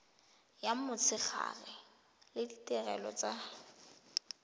ya motshegare le ditirelo tsa